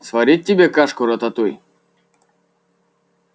сварить тебе кашку-рататуй